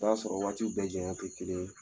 O y'a sɔrɔ waatiw bɛɛ janya tɛ kelen ye.